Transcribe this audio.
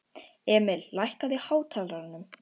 Emil, lækkaðu í hátalaranum.